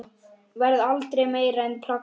Varð aldrei meira en plakat.